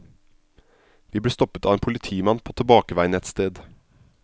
Vi ble stoppet av en politimann på tilbakeveien et sted.